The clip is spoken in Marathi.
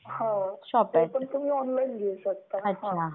ते तुम्ही ऑनलाइन घेऊ शकता